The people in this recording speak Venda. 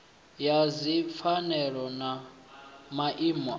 ya dzipfanelo na maimo a